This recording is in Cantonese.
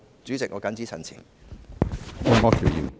主席，我謹此陳辭。